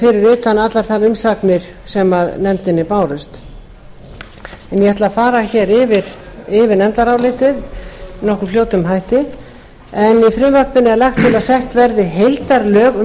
utan allar þær umsagnir sem nefndinni bárust en ég ætla að fara yfir nefndarálitið með nokkuð fljótum hætti í frumvarpinu er lagt til að sett verði heildarlög um